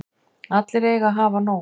Allir eiga að hafa nóg.